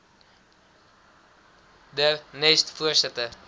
der nest voorsitter